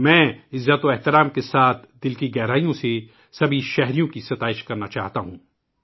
میں ، پورے خلوص کے ساتھ تمام شہریوں کی احترام کےساتھ ستائش کرتا ہوں